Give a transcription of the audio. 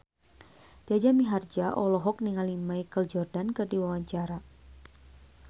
Jaja Mihardja olohok ningali Michael Jordan keur diwawancara